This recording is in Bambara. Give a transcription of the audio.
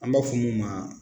An b'a fɔ mun ma